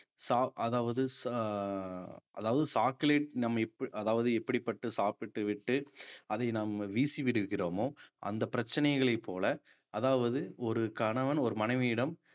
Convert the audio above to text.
சாப்~ அதாவது சா~ அதாவது நம்மை அதாவது எப்படிப்பட்ட சாப்பிட்டுவிட்டு அதை நாம் வீசி விடுகிறோமோ அந்த பிரச்சனைகளை போல அதாவது ஒரு கணவன் ஒரு மனைவியிடம்